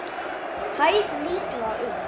Hæð líklega um